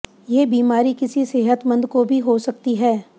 ये बीमारी किसी सेहतमंद को भी हो सकती है